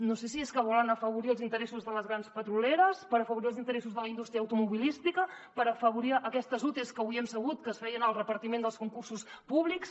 no sé si és que volen afavorir els interessos de les grans petrolieres per afavorir els interessos de la indústria automobilística per afavorir aquestes utes que avui hem sabut que es feien el repartiment dels concursos públics